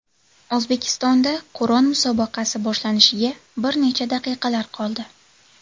O‘zbekistonda Qur’on musobaqasi boshlanishiga bir necha daqiqalar qoldi .